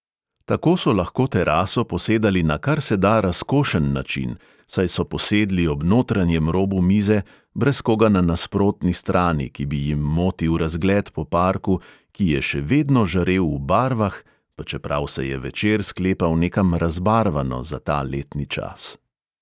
Tako so lahko teraso posedali na kar se da razkošen način, saj so posedli ob notranjem robu mize, brez koga na nasprotni strani, ki bi jim motil razgled po parku, ki je še vedno žarel v barvah, pa čeprav se je večer sklepal nekam razbarvano za ta letni čas.